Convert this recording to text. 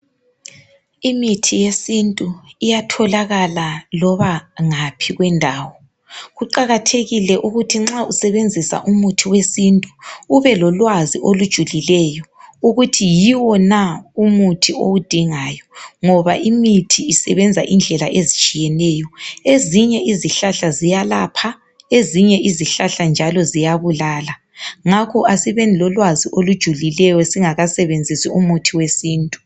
imithi yesintu iyatholakala loba ngaphi kwendawo kuqakathekile ukuthi nxa usebenzisa umuthi wesintu ube lolwazi olujulileyo ukuthi yiwo na umuthi owudingayo ngoba imithi isebenza indlela ezitshiyeneyo ezinye izihlahla ziyalapha ezinye izihlahla njalo ziyabulala ngakho asibeni lolwazi olujulileyo singakasebenzisi umuthi wesintu